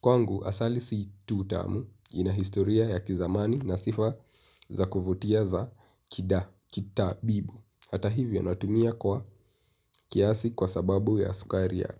Kwangu, asali si tu tamu, ina historia ya kizamani na sifa za kuvutia za kida, kita bibu. Hata hivyo, natumia kwa kiasi kwa sababu ya sukari yake.